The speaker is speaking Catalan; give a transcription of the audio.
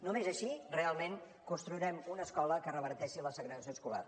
només així realment construirem una escola que reverteixi la segregació escolar